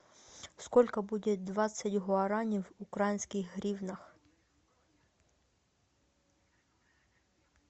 сколько будет двадцать гуарани в украинских гривнах